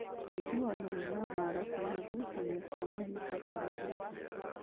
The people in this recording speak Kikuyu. Wĩguano wĩna haro kana ngucanio cia mahinda kwa mahinda